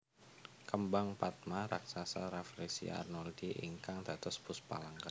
Kembang patma raksasa Rafflesia arnoldii ingkang dados Puspa Langka